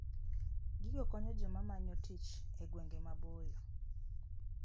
Gigo konyo joma manyo tich e gwenge maboyo.